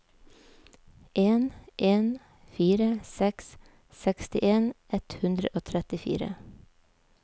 en en fire seks sekstien ett hundre og trettifire